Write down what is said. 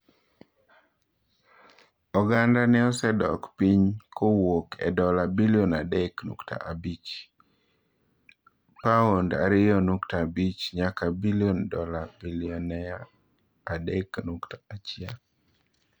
Ogandane osedok piny kowuok e dola bilion adek nukta abich (paond ariyo nukta abich) nyaka dola bilionde 3.1.